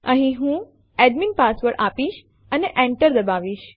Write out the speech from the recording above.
અહીં હું admin password આપીશ અને Enter દબાવો